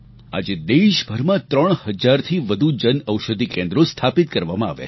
આજે દેશભરમાં ત્રણ હજારથી વધુ જન ઔષધિ કેન્દ્રો સ્થાપિત કરવામાં આવ્યાં છે